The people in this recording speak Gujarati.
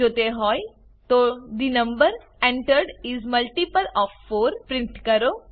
જો તે હોય તો the number entered is a multiple of 4 print કરો